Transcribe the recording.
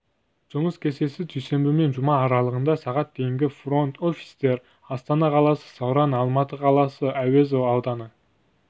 жұмыс кестесі дүйсенбі мен жұма аралығында сағат дейінгі фронт-офистер астана қаласы сауран алматы қаласы әуезов ауданы